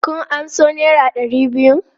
Kun amso naira ɗari biyun?